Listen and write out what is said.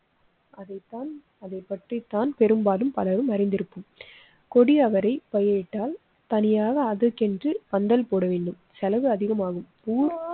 அதே தான். அதைப் பற்றி தான் பெரும்பாலும் பலரும் அறிந்திருப்போம். கொடி அவரை பயரிட்டால் தனியாக அதற்கென்று பந்தல் போடவேண்டும், செலவு அதிகமாகும்.